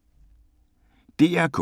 DR K